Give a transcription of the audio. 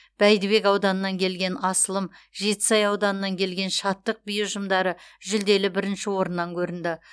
бәйдібек ауданынан келген асылым жетісай ауданынан келген шаттық би ұжымдары жүлделі бірінші орыннан көрінді